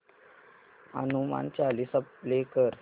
Hanuman Chalisa play कर